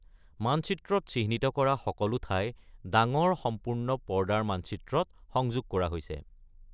মানচিত্ৰত চিহ্নিত কৰা সকলো ঠাই ডাঙৰ সম্পূৰ্ণ পৰ্দাৰ মানচিত্ৰত সংযোগ কৰা হৈছে।